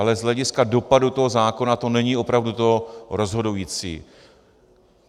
Ale z hlediska dopadu toho zákona to není opravdu to rozhodující.